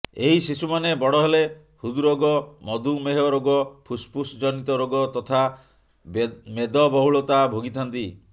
ଏହି ଶିଶୁମାନେ ବଡ଼ ହେଲେ ହୃଦରୋଗ ମଧୁମେହ ରୋଗ ଫୁସଫୁସଜନିତ ରୋଗ ତଥା ମେଦବହୁଳତା ଭୋଗିଥାନ୍ତି